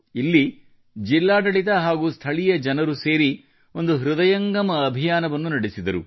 ಇಲ್ಲಿ ಜಿಲ್ಲಾಡಳಿತ ಹಾಗೂ ಸ್ಥಳೀಯ ಜನ ಸೇರಿ ಒಂದು ಹೃದಯಂಗಮ ಅಭಿಯಾನವನ್ನು ನಡೆಸಿದರು